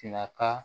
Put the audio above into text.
Sina ka